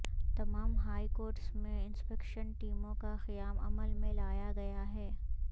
تمام high courts میں inspection ٹیموں کا قیام عمل میں لایا گیا ہے